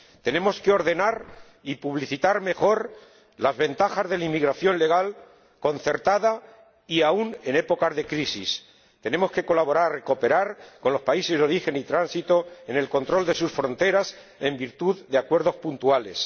Tenemos que ordenar y publicitar mejor las ventajas de la inmigración legal concertada, aun en épocas de crisis. Tenemos que colaborar y cooperar con los países de origen y tránsito en el control de sus fronteras, en virtud de acuerdos puntuales.